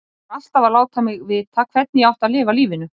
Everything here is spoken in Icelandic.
Og var alltaf að láta mig vita hvernig ég átti að lifa lífinu.